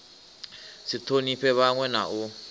si thonifhe vhanwe na u